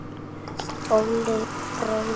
Óli bróðir.